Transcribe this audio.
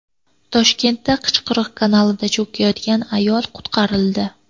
Toshkentda Qichqiriq kanalida cho‘kayotgan ayol qutqarildi.